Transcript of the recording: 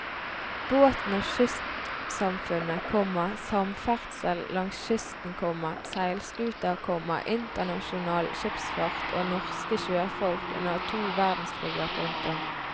Båten og kystsamfunnet, komma samferdsel langs kysten, komma seilskuter, komma internasjonal skipsfart og norske sjøfolk under to verdenskriger. punktum